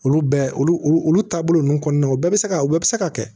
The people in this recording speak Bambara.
Olu bɛɛ olu olu taabolo ninnu kɔnɔna na u bɛɛ bɛ se ka u bɛɛ bɛ se ka kɛ